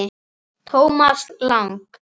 Thomas Lang